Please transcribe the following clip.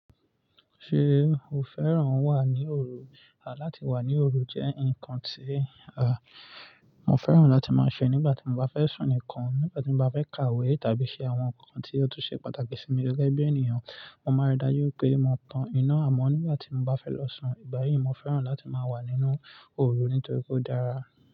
Ṣé o fẹ́ràn wà ní òru? Láti wà ní òru jẹ́ ǹkan tí àà, mo fẹ́ràn láti máa ṣe nígbà tí mo bá fẹ́ sùn nìkan, nígbà tí mo bá fẹ́ kàwé tàbí ṣe àwọn ǹkan tí ó tún ṣe pàtàkì sí mi gẹ́gẹ́ bí ènìyàn. Mo máa n rí i dájú pé mo tan iná àmọ́ nígbà tí mo bá fẹ́ lọ sùn. Ìgbà yíì mo fẹ́ràn láti máa wà nínú òru nítorí pe ó dára.